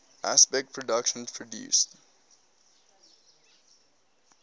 aspect productions produced